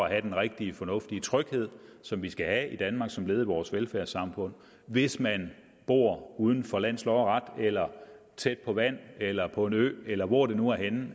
at have den rigtige fornuftige tryghed som vi skal have i danmark som led i vores velfærdssamfund hvis man bor uden for lands lov og ret eller tæt på vand eller på en ø eller hvor det nu er henne